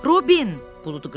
Robin! buludu qışqırdı.